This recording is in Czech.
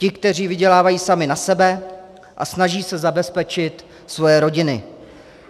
Ti, kteří vydělávají sami na sebe a snaží se zabezpečit svoje rodiny.